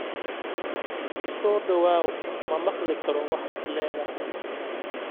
U soo dhawaaw ma maqli karo waxaad leedahay